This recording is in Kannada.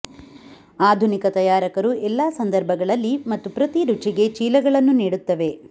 ಆಧುನಿಕ ತಯಾರಕರು ಎಲ್ಲಾ ಸಂದರ್ಭಗಳಲ್ಲಿ ಮತ್ತು ಪ್ರತಿ ರುಚಿಗೆ ಚೀಲಗಳನ್ನು ನೀಡುತ್ತವೆ